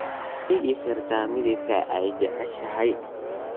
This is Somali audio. ma ii sheegi kartaa midabka aad jeceshahay